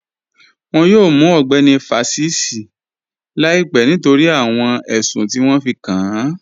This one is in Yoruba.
Wọ́n yọ̀ọ̀ mù Ọgbẹni Fásísì làìpẹ̀ nítorí awọn ẹṣùn ti wọn fí kàn án